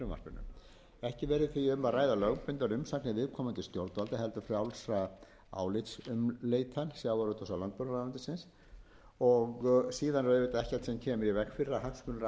um að ræða lögbundnar umsagnir viðkomandi stjórnvalda heldur frjálsa álitsumleitan sjávarútvegs og landbúnaðarráðuneytisins og síðan er auðvitað ekkert sem kemur í veg fyrir að hagsmunaaðili komi fram